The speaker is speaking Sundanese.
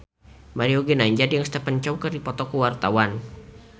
Mario Ginanjar jeung Stephen Chow keur dipoto ku wartawan